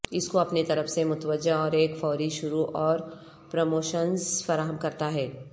اس کو اپنی طرف متوجہ اور ایک فوری شروع اور پروموشنز فراہم کرتا ہے